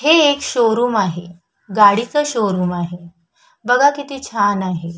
हे एक शोरुम आहे गाडीच शोरुम आहे बघा किती छान आहे.